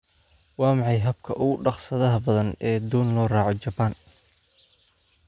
waa maxay habka ugu dhaqsaha badan ee doon loo raaco japan